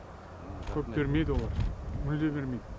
көп бермейді олар мүлде бермейді